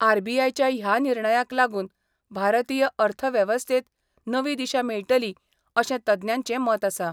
RBI च्या ह्या निर्णयाक लागून भारतीय अर्थव्यवस्थेत नवी दिशा मेळटली अशें तज्ञांचे मत आसा.